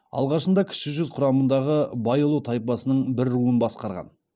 алғашында кіші жүз құрамындағы байұлы тайпасының бір руын басқарған